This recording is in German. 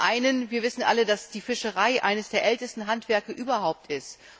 Zum einen Wir wissen alle, dass die Fischerei eines der ältesten Handwerke überhaupt ist.